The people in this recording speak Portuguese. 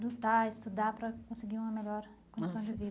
Lutar, estudar para conseguir uma melhor condição de vida.